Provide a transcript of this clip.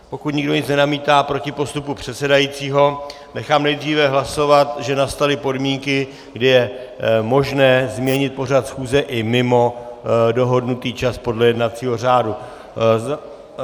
Pokud nikdo nic nenamítá proti postupu předsedajícího, nechám nejdříve hlasovat, že nastaly podmínky, kdy je možné změnit pořad schůze i mimo dohodnutý čas podle jednacího řádu.